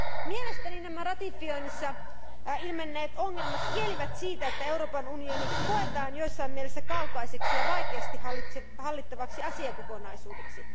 Mielestäni nämä ratifioinnissa ilmenneet ongelmat kielivät siitä, että Euroopan unioni koetaan jossain mielessä kaukaiseksi ja vaikeasti hallittavaksi asiakokonaisuudeksi.